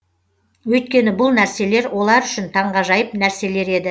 өйткені бұл нәрселер олар үшін таңғажайып нәрселер еді